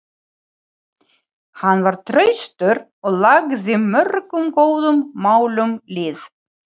Hann var traustur og lagði mörgum góðum málum lið.